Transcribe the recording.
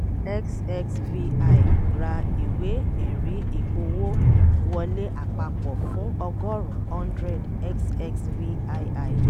xxvi ra ìwé ẹ̀rí ìpowó wọlé àpapọ̀ fún ọgọ́rún hundred xxvii